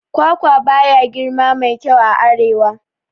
Kwakwa baya girma mai kyau a arewa